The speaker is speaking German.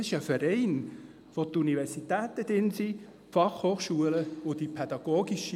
Das ist ein Verein, dessen Mitglieder Universitäten und Fachhochschulen sind.